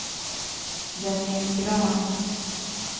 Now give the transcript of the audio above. Jonny Grahn